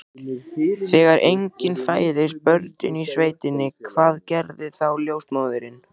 Þegar engin fæðast börnin í sveitinni, hvað gerir þá ljósmóðirin?